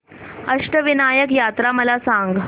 अष्टविनायक यात्रा मला सांग